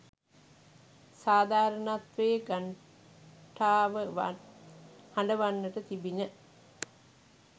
සාධාරණත්වයේ ඝණ්ඨාවවත් හඬවන්නට තිබිණ.